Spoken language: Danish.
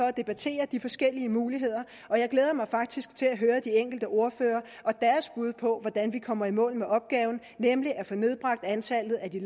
at debattere de forskellige muligheder og jeg glæder mig faktisk til at høre de enkelte ordførere og deres bud på hvordan vi kommer i mål med opgaven nemlig at få nedbragt antallet af de